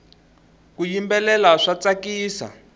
ku yimbelela swa tsakisa